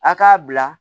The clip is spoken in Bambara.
A k'a bila